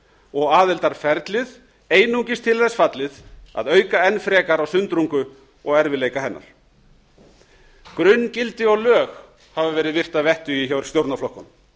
og aðildarferlið einungis til þess fallið að auka enn frekar á sundrungu og erfiðleika hennar grunngildi og lög hafa verið virt að vettugi hjá stjórnarflokkunum